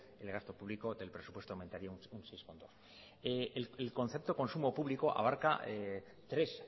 el gasto público del presupuesto aumentaría seis coma dos el concepto consumo público abarca tres